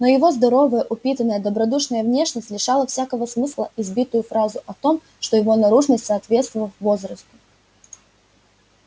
но его здоровая упитанная добродушная внешность лишала всякого смысла избитую фразу о том что его наружность соответствовав возрасту